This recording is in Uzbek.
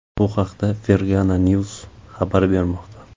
Bu haqda Fergana news xabar bermoqda .